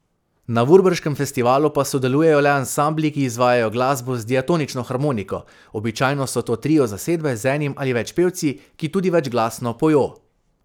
Na Vurberškem festivalu pa sodelujejo le ansambli, ki izvajajo glasbo z diatonično harmoniko, običajno so to trio zasedbe z enim ali več pevci, ki tudi večglasno pojo.